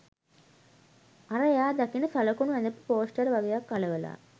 අර එයා දකින සලකුණ ඇඳපු පෝස්ටර් වගයක් අලවලා